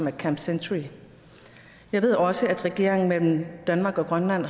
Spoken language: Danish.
er camp century jeg ved også at regeringerne i danmark og grønland